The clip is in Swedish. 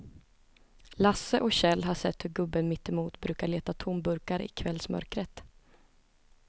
Lasse och Kjell har sett hur gubben mittemot brukar leta tomburkar i kvällsmörkret.